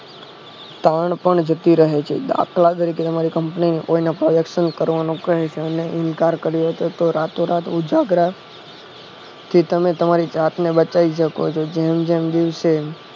ટાણ પણ જતી રહે છે દાખલા તરીકે તમારે company કોઈ ના collection કરવાનું કહે ઇનકાર કર્યો તો રાતો રાત ઉજાગરા થી તમે તમારી જાતને બતાવી શકો છો